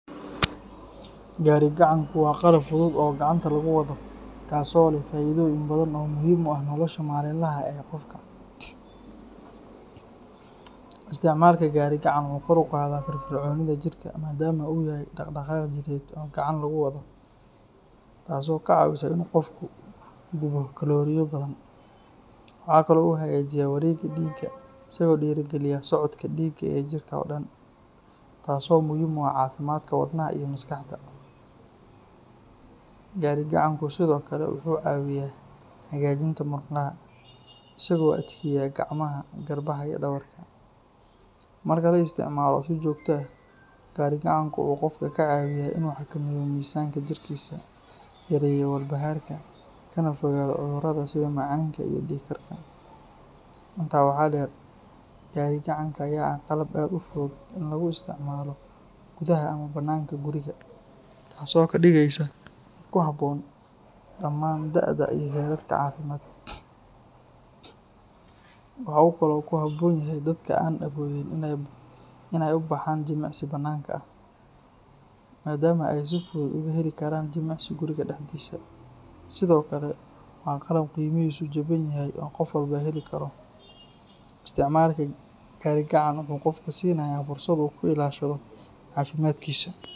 Gaari gacanku waa qalab fudud oo gacanta laguwado kaas oo leh faidoyin badan oo muhiim uah nolosha malin laha ee qofka. Isticmalka gari gacan wuxu kor uqadaa firifrconida jirka madam uu yahay daqdaqaaq jireed oo gacan lagu wado taaso kacawiso in u qofku gubo kalorio badan. Waxa kale u hagajiya warega diiga isago diri galiya socodka diiga ee jirka oo dan taas oo muhiim uah cafimadka wadnaha iyo maskaxda. Gari gacanku sido kale wuxu cawiya hagajinta murqaha isago adkeeya gamaha, garbaha iyo dawarka. Marka laisticmalo si joota ah gari gacanku u qofku kucawiya in uxakameyo mizanka jirkisa, yareyo warbaharka kana fogaado cudurada sida macaanka iyo diikarka. Intaa waxaa deer gari gacankaa ya waxaa eh qalab aad u fudud e laguisticmalagudaha ama bananka guriga taas o kadigeysa kuhaboon damaan daada iyo jararka cafimad. Muxu kale oo kuhaboon yhy dadka aan aboodin in ey ubaxan jimacsi banaanka ah madaama ey si fudud ugahelikaraan jimacsi guriga daxdisa . Sido kale waa qalab qeymihisu jabanyahy oo qof walbo heli kato. isticmalku garigacantku wuxu qofku sinaya fursad u kuilashado cafimadkisu.